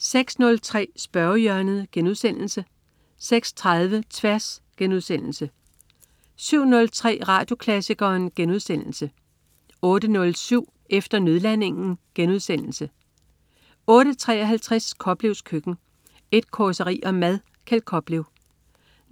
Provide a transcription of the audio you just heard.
06.03 Spørgehjørnet* 06.30 Tværs* 07.03 Radioklassikeren* 08.07 Efter nødlandingen* 08.53 Koplevs Køkken. Et causeri om mad. Kjeld Koplev